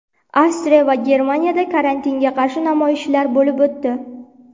Avstriya va Germaniyada karantinga qarshi namoyishlar bo‘lib o‘tdi .